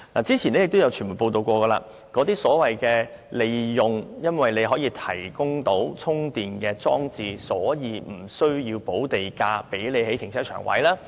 早前已有傳媒報道，有發展商利用提供充電裝置的停車位而無須補地價興建停車場。